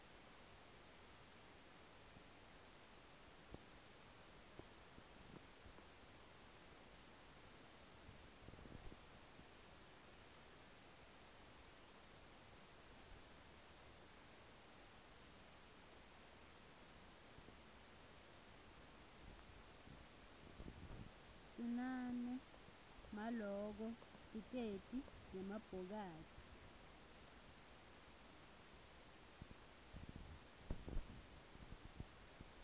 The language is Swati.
sinane maloko tlkesl nemabhokathi